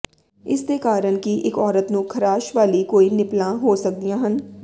ਇਸ ਦੇ ਕਾਰਨ ਕਿ ਇਕ ਔਰਤ ਨੂੰ ਖਾਰਸ਼ ਵਾਲੀ ਕੋਈ ਨਿਪਲਾਂ ਹੋ ਸਕਦੀਆਂ ਹਨ